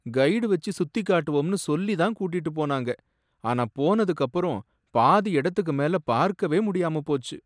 guide வச்சு சுத்திக் காட்டுவோம்னு சொல்லி தான் கூட்டிட்டு போனாங்க, ஆனா போனதுக்கு அப்பறம் பாதி இடத்துக்கு மேல பார்க்கவே முடியாம போச்சு